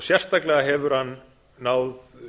sérstaklega hefur hann náð